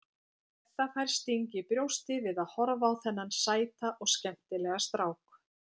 Edda fær sting í brjóstið við að horfa á þennan sæta og skemmtilega strák.